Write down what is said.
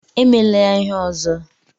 Emela ya ihe ọzọ!